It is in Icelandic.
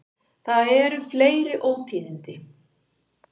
Það eru fleiri ótíðindi.